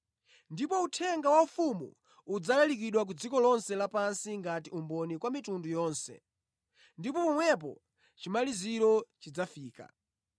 Ndipo uthenga wa ufumu udzalalikidwa ku dziko lonse lapansi ngati umboni kwa mitundu yonse, ndipo pomwepo chimaliziro chidzafika.”